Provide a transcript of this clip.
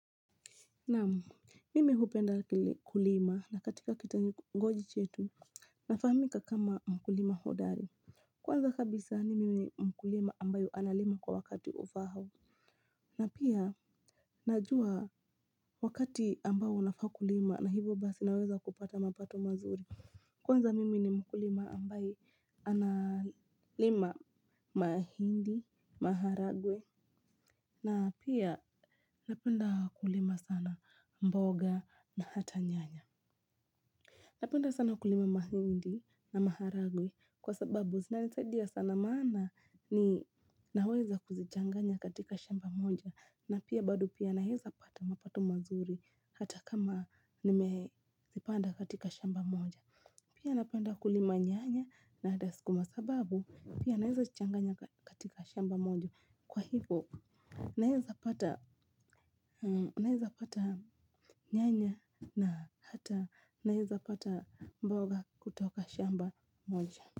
Naam mimi hupenda kulima na katika kito ngoji chetu nafahamika kama mkulima hodari. Kwanza kabisa mimini mkulima ambayo analima kwa wakati ufaao. Na pia najua wakati ambaou nafaakulima na hivyo basi naweza kupata mapato mazuri. Kwanza mimi ni mkulima ambaye analima mahindi, maharagwe. Na pia napenda kulima sana mboga na hata nyanya. Napenda sana kulima mahindi na maharagwe kwa sababu zina nisaidia sana maana ni naweza kuzichanganya katika shamba moja. Na pia bado pia naweza pata mapato mazuri hata kama nimezipanda katika shamba moja. Pia napenda kulima nyanya na hata suku masababu pia nawezazi changanya katika shamba moja. Kwa hivyo, naweza pata nyanya na hata naweza pata mboga kutoka shamba moja.